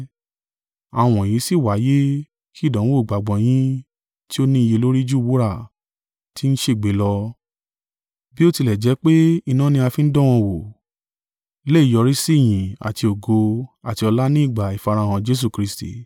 Àwọn wọ̀nyí sì wáyé ki ìdánwò ìgbàgbọ́ yín tí ó ni iye lórí ju wúrà, ti ń ṣègbé lọ, bí ó tilẹ̀ jẹ́ pé iná ni a fi ń dán an wò, lè yọrísí ìyìn àti ògo àti ọlá ni ìgbà ìfarahàn Jesu Kristi.